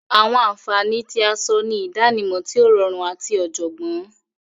Awọn anfani ti awọn aṣọ ni idanimọ ti o rọrun ati ọjọgbọn.